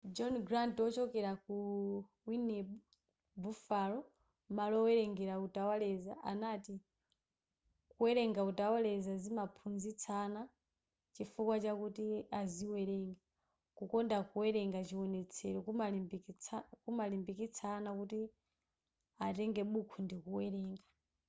john grant ochokera ku wned buffalo malo owerenga utawaleza anati kuwerenga utawaleza zimamphunzitsa ana chifukwa chakuti aziwerenga ...kukonda kuwerenga-[chiwonetsero] kuwalimbikitsa ana kuti atenge buku ndi kuwerenga.